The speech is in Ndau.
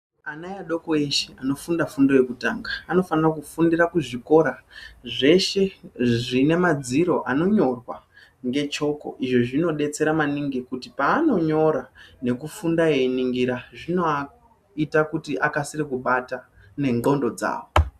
Ana adoko eshe anofunda fundo yekutanga anofanira kufundira kuzvikora zveshe zvine madziro anonyorwa ngechoko izvi zvinodetsera maningi kuti panonyora nekufunda eyiningira zvinovaite kuti vakasire kubata nendxondo dzavo.